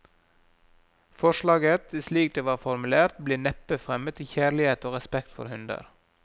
Forslaget, slik det var formulert, ble neppe fremmet i kjærlighet og respekt for hunder.